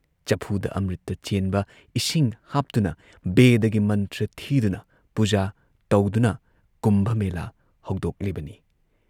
ꯆꯐꯨꯗ ꯑꯃ꯭ꯔꯤꯇ ꯆꯦꯟꯕ ꯏꯁꯤꯡ ꯍꯥꯞꯇꯨꯅ ꯕꯦꯗꯒꯤ ꯃꯟꯇ꯭ꯔ ꯊꯤꯗꯨꯅ ꯄꯨꯖꯥ ꯇꯧꯗꯨꯅ ꯀꯨꯝꯚ ꯃꯦꯂꯥ ꯍꯧꯗꯣꯛꯂꯤꯕꯅꯤ ꯫